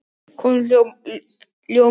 Hún ljómaði upp!